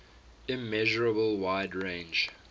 immeasurable wide range